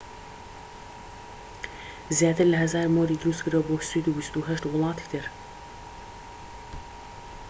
زیاتر لە ١٠٠٠ مۆری دروست کردووە بۆ سوید و ٢٨ وڵاتی تر